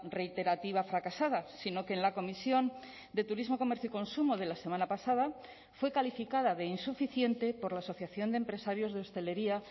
reiterativa fracasada sino que en la comisión de turismo comercio y consumo de la semana pasada fue calificada de insuficiente por la asociación de empresarios de hostelería